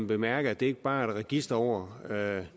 bemærke at det ikke bare er et register over